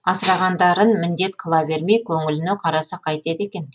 асырағандарын міндет қыла бермей көңіліне қараса қайтеді екен